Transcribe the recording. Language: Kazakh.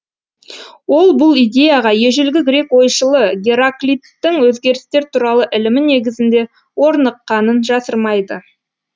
ол бұл идеяға ежелгі грек ойшылы гераклиттің өзгерістер туралы ілімі негізінде орныққанын жасырмайды